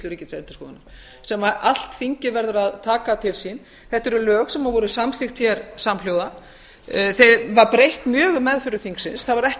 ríkisendurskoðunar sem allt þingið verður að taka til sín þetta eru lög sem voru samþykkt hér samhljóða þeim var breytt mjög í meðförum þingsins það var ekki